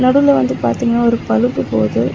நடுவுல வந்து பாத்தீங்கன்னா ஒரு பலுப்பு போது.